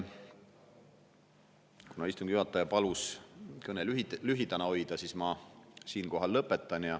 Kuna istungi juhataja palus kõne lühidana hoida, siis ma siinkohal lõpetan.